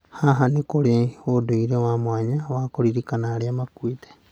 Haha, nĩ kũrĩ ũndũire wa mwanya wa kũririkana arĩa makuĩte.